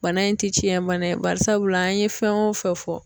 Bana in ti tiɲɛ bana ye bari sabula an ye fɛn o fɛn fɔ